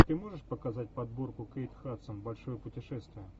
ты можешь показать подборку кейт хадсон большое путешествие